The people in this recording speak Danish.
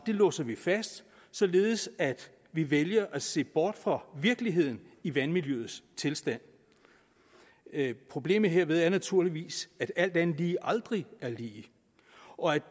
låser vi fast således at vi vælger at se bort fra virkeligheden i vandmiljøets tilstand problemet herved er naturligvis at alt andet lige aldrig er lige og at